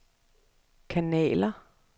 kanaler